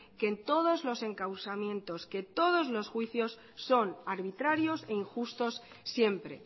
que en todos los encausamientos que todos los juicios son arbitrarios e injustos siempre